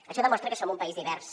això demostra que som un país divers